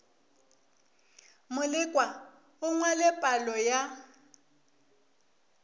molekwa a ngwale palo ya